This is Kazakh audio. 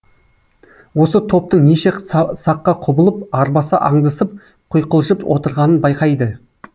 осы топтың неше саққа құбылып арбаса аңдысып құйқылжып отырғанын байқайды